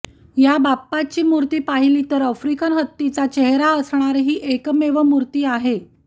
या बाप्पाची मूर्ती पाहिली तर आफ्रिकन हत्तीचा चेहरा असणारी हि एकमेव मूर्ती आहे